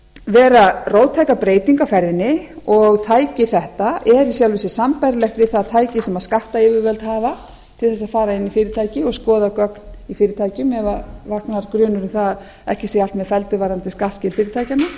vera róttæka breytingu á ferðinni og tæki þetta er í sjálfu sér sambærilegt við það tæki sem skattayfirvöld hafa til þess að fara inn í fyrirtæki og skoða gögn í fyrirtækjum ef það vaknar grunur um að ekki sé allt með felldu varðandi skattskil fyrirtækjanna